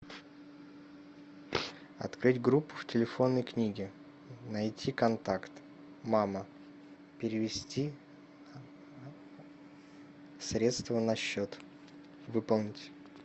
открыть группу в телефонной книге найти контакт мама перевести средства на счет выполнить